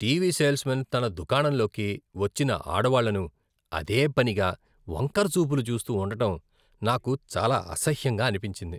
TV salesman తన దుకాణంలోకి వచ్చిన ఆడవాళ్ళను అదేపనిగా వంకరచూపులు చూస్తూ ఉండటం నాకు చాలా అసహ్యంగా అనిపించింది.